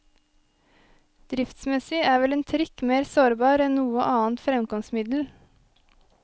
Driftsmessig er vel en trikk mer sårbar enn noe annet fremkomstmiddel.